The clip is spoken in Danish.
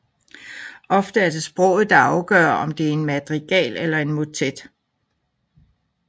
Ofte er det sproget der afgør om det er madrigal eller motet